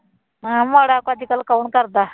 ਹੈਂ ਮਾੜਾ ਤਾਂ ਅੱਜ ਕੱਲ੍ਹ ਕੌਣ ਕਰਦਾ।